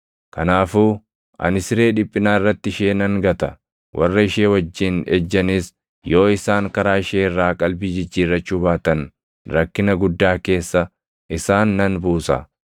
Kanaafuu ani siree dhiphinaa irratti ishee nan gata; warra ishee wajjin ejjanis yoo isaan karaa ishee irraa qalbii jijjiirrachuu baatan rakkina guddaa keessa isaan nan buusa.